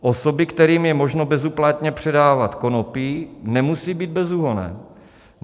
Osoby, kterým je možno bezúplatně předávat konopí, nemusí být bezúhonné?